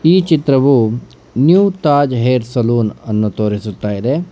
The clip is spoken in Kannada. ಈ ಚಿತ್ರವು ನ್ಯೂ ತಾಜ್ ಹೇರ್ ಸಲೂನ್ ಅನ್ನು ತೋರಿಸುತ್ತ ಇದೆ.